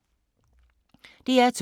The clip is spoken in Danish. DR2